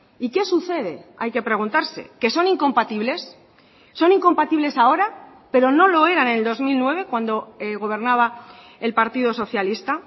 y qué sucede hay que preguntarse que son incompatibles son incompatibles ahora pero no lo eran en el dos mil nueve cuando gobernaba el partido socialista